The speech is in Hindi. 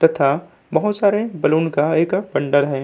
तथा बहुत सारे बैलून का एक बंडल है।